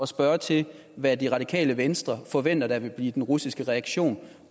spørge til hvad radikale venstre forventer vil blive den russiske reaktion